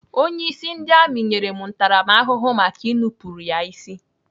Onyeisi ndị amị nyere m ntaramahụhụ maka ị nupụrụ ya isi.